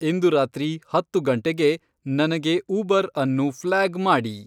ಇಂದು ರಾತ್ರಿ ಹತ್ತು ಗಂಟೆಗೆ ನನಗೆ ಉಬರ್ ಅನ್ನು ಫ್ಲ್ಯಾಗ್ ಮಾಡಿ